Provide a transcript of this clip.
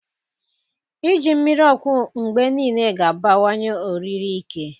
Iji mmiri ọkụ mgbe niile ga-abawanye oriri ike.